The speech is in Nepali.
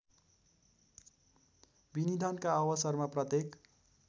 विनिधानका अवसरमा प्रत्येक